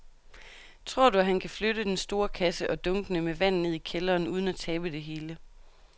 Tror du, at han kan flytte den store kasse og dunkene med vand ned i kælderen uden at tabe det hele?